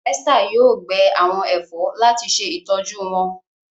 Esther yóò gbẹ àwọn èfó láti se ìtọjú wón.